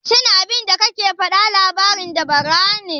Shin abinda kake faɗa labarin dabara ne?